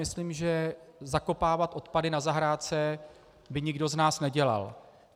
Myslím, že zakopávat odpady na zahrádce by nikdo z nás nedělal.